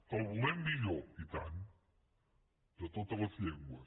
que el volem millor i tant de totes les llengües